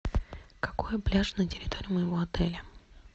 какой пляж на территории моего отеля